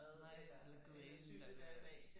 Nej eller købe ind eller